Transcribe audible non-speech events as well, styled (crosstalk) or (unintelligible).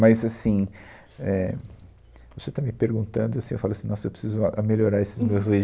Mas, assim, é, você está me perguntando, assim, e eu falo assim, nossa, eu preciso ah melhorar esses meus (unintelligible)